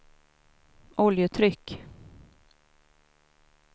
oljetryck